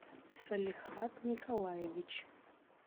салихат николаевич